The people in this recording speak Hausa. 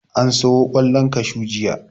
An siyo ƙwallon kashu jiya.